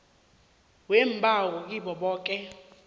weembawo kibo boke